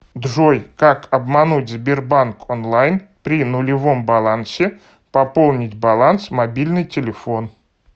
джой как обмануть сбербанк онлайн при нулевом балансе пополнить баланс мобильный телефон